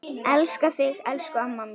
Elska þig elsku amma mín.